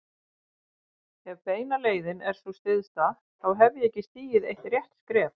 Ef beina leiðin er sú stysta, þá hef ég ekki stigið eitt rétt skref.